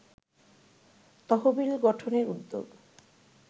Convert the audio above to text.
তহবিল গঠনের উদ্যোগ